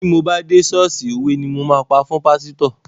Ti mo bá dé ṣọ́ọ̀ṣì òwe ni mo máa pa fún pásítọ̀.